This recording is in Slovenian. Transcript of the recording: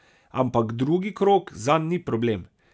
Ampak drugi krog zanj ni problem.